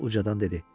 Hans ucadan dedi.